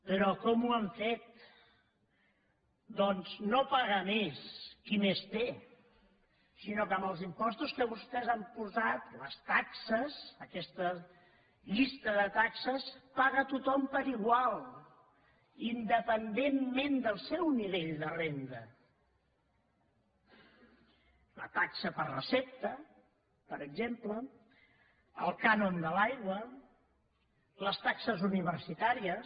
però com ho han fet doncs no paga més qui més té sinó que amb els impostos que vostès han posat les taxes aquesta llista de taxes paga tothom igual independentment del seu nivell de renda la taxa per recepta per exemple el cànon de l’aigua les taxes universitàries